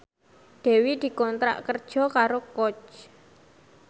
Dewi dikontrak kerja karo Coach